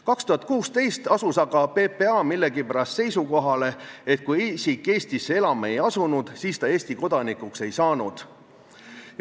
2016. aastal asus aga PPA millegipärast seisukohale, et kui isik Eestisse elama ei asunud, siis ta Eesti kodanikuks ei saanud.